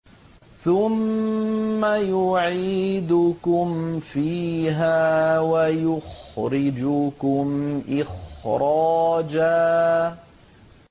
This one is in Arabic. ثُمَّ يُعِيدُكُمْ فِيهَا وَيُخْرِجُكُمْ إِخْرَاجًا